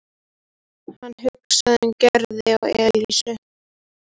Hann hugsaði um Gerði og Elísu.